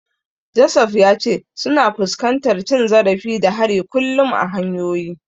Joseph ya ce suna fuskantar cin zarafi da hari kullum a hanyoyi.